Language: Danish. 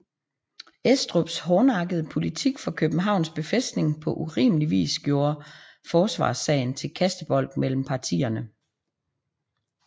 Estrups hårdnakkede politik for Københavns Befæstning på urimelig vis gjorde forsvarssagen til kastebold mellem partierne